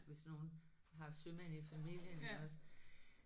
Hvis nogen har sømænd i familien iggås